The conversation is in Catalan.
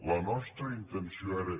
la nostra intenció era